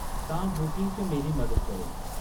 तां बुकिंग च मेरी मदद करो।